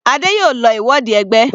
Adé yòó lọ ìwọde ẹgbẹ́.